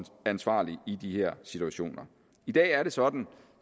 ansvarlig i de her situationer i dag er det sådan